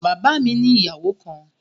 Bàbá mi ni ìyàwó kan